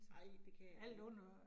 Nej, det kan det ikke